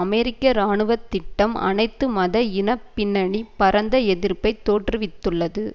அமெரிக்க இராணுவ திட்டம் அனைத்து மத இன பின்னணி பரந்த எதிர்ப்பை தோற்றுவித்துள்ளது